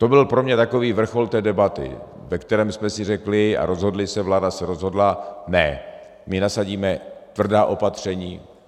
- To byl pro mě takový vrchol té debaty, ve které jsme si řekli a rozhodli se, vláda se rozhodla - ne, my nasadíme tvrdá opatření.